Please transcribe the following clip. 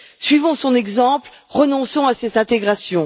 Suivons son exemple, renonçons à cette intégration.